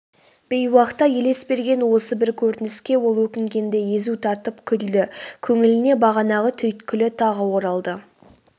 бейуақта елес берген осы бір көрініске ол өкінгендей езу тартып күлді көңіліне бағанағы түйткілі тағы оралды